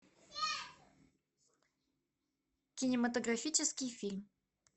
кинематографический фильм